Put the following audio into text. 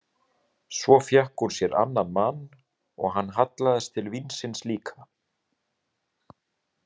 Svo fékk hún sér annan mann og hann hallaðist til vínsins líka.